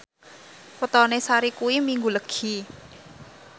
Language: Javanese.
wetone Sari kuwi Minggu Legi